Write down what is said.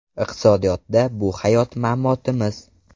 Iqtisodiyotda bu hayot-mamotimiz.